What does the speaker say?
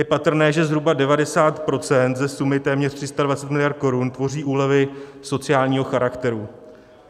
Je patrné, že zhruba 90 % ze sumy téměř 320 mld. korun tvoří úlevy sociálního charakteru.